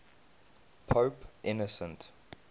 pope innocent